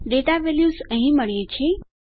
data values આપણને અહીં મળ્યી છે